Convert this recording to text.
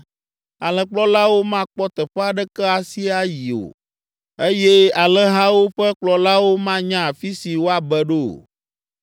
Alẽkplɔlawo makpɔ teƒe aɖeke asi yi o, eye alẽhawo ƒe kplɔlawo manya afi si woabe ɖo o.